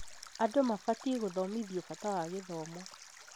Andũ mabatiĩ gũthomithio bata wa gĩthomo